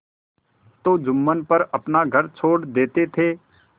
तो जुम्मन पर अपना घर छोड़ देते थे